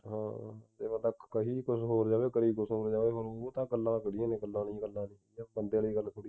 ਹਾਂ ਜਿਵੇਂ ਕੱਖ ਕਹੀ ਕੁਛ ਹੋਰ ਜਾਵੇ ਕਰਿ ਕੁਛ ਹੋਰ ਜਾਵੇ ਫੇਰ ਉਹ ਤਾਂ ਕਲਾ ਥੋੜੀ ਹੈ ਗੱਲਾਂ ਲਈ ਗੱਲਾਂ ਲਈ ਬੰਦੇ ਨਾਲ ਗੱਲ ਥੋੜੀ